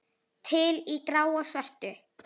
Til í gráu og svörtu.